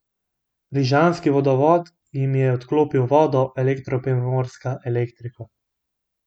Rižanski vodovod jim je odklopil vodo, Elektro Primorska elektriko.